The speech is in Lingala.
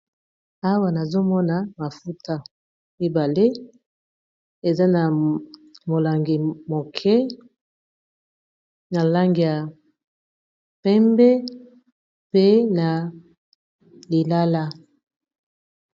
Awa nazomona mafuta mibale eza na molangi moke na langi ya pembe pe na lilala.